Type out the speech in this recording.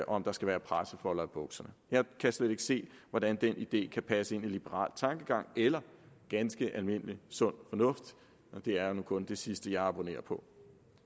om der skal være pressefolder i bukserne jeg kan slet ikke se hvordan den idé kan passe ind i liberal tankegang eller ganske almindelig sund fornuft og det er nu kun det sidste jeg abonnerer på